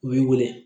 U b'i wele